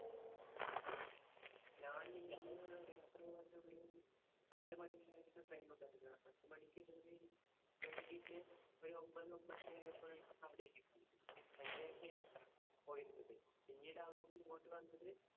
ഞാൻ പത്തുമണിക്കായിരുന്നു train ഉണ്ടായിരുന്നെ. പത്തുമണിക്ക് കേറി വൈകീട്ട് ഒരു ഒൻപത് ഒൻപതര ആയപ്പോഴേക്കും അവിടെയെത്തി . യാത്ര പോയിരുന്നത്. പിന്നീട് അവിടുന്ന് ഇങ്ങോട്ട് വന്നത്